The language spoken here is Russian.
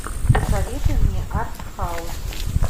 посоветуй мне артхаус